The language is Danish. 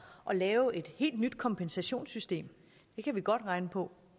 at lave et helt nyt kompensationssystem det kan vi godt regne på